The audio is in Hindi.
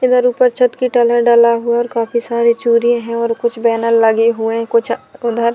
इधर ऊपर छत की टलहा डला हुआ है और काफी सारे चुरि हैं और कुछ बैनर लगे हुए हैं कुछ उधर--